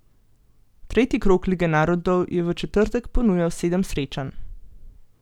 Tretji krog lige narodov je v četrtek ponujal sedem srečanj.